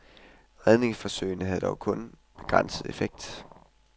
Redningsforsøgene havde dog kun begrænset effekt.